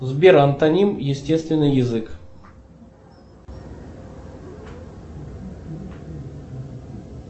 сбер антоним естественный язык